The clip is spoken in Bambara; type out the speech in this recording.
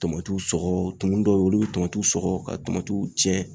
Tomatiw sɔgɔ, tumu dɔw bɛ yen, olu bɛ tomatiw sɔgɔ ka tomatiw tiɲɛ.